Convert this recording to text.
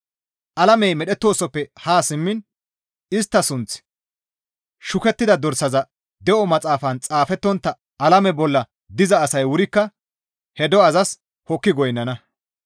Alamey medhettoosoppe haa simmiin istta sunththi shukettida dorsaza de7o maxaafan xaafettontta alame bolla diza asay wurikka he do7azas hokki goynnana.